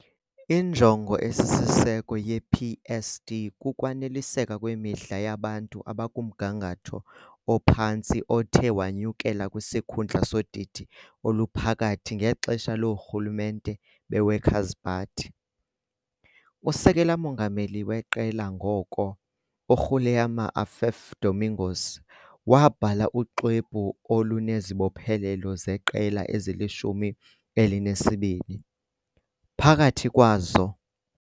Injongo esisiseko yePSD kukwaneliseka kwemidla yabantu abakumgangatho ophantsi othe wanyukela kwisikhundla sodidi oluphakathi ngexesha loorhulumente beWorkers' Party. Usekela-mongameli weqela ngoko, uGuilherme Affif Domingos, SP, wabhala uxwebhu olunezibophelelo zeqela eli-12, phakathi kwazo.